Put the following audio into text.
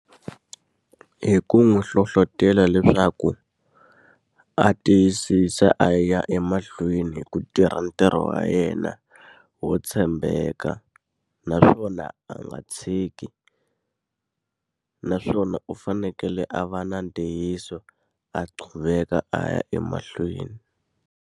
Hi ku n'wi hlohletelo leswaku, a tiyisisa a ya emahlweni hi ku tirha ntirho wa yena wo tshembeka ka. Naswona a nga tshiki, naswona u fanekele a va na ntiyiso a qhuveka a ya emahlweni.